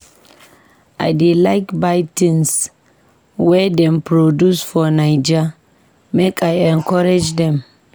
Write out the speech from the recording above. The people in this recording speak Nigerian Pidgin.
I dey like buy tins wey dem produce for Naija, make I encourage dem.